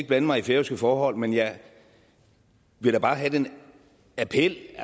blande mig i færøske forhold men jeg vil da bare have den appel